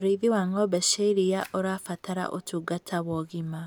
ũrĩithi wa ng'ombe cia iria ũrabatara utungata wa ũgima